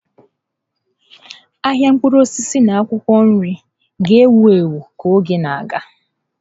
Ahịa mkpụrụ osisi na akwụkwọ nri ga-ewu ewu ka oge na-aga.